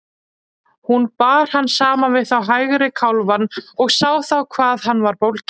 Hún bar hann saman við hægri kálfann og sá þá hvað hann var bólginn.